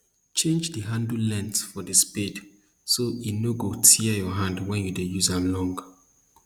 change the handle length for the spade so e no go tear your hand when you dey use am long